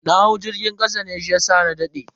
Na hau jirgin kasa ne shiyasa na dade.